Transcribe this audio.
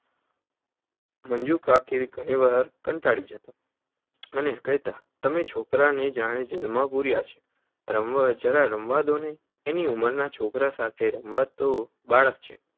મંજુકાકી ઘણીવાર કંટાળી જતાં. અને કેહતા તમે તો છોકરાંને જાણે જેલમાં પૂર્યા છે. રમવા જવા દો ને! એની ઉંમરનાં છોકરાંઓ સાથે રમવા ઘો. બાળક છે.